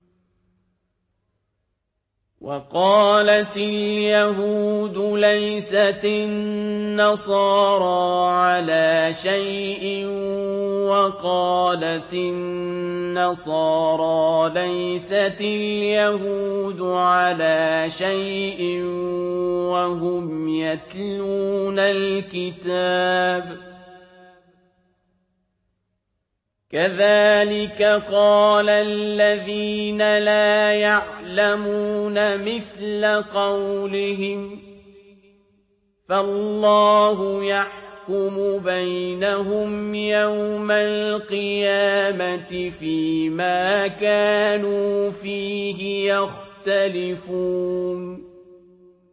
وَقَالَتِ الْيَهُودُ لَيْسَتِ النَّصَارَىٰ عَلَىٰ شَيْءٍ وَقَالَتِ النَّصَارَىٰ لَيْسَتِ الْيَهُودُ عَلَىٰ شَيْءٍ وَهُمْ يَتْلُونَ الْكِتَابَ ۗ كَذَٰلِكَ قَالَ الَّذِينَ لَا يَعْلَمُونَ مِثْلَ قَوْلِهِمْ ۚ فَاللَّهُ يَحْكُمُ بَيْنَهُمْ يَوْمَ الْقِيَامَةِ فِيمَا كَانُوا فِيهِ يَخْتَلِفُونَ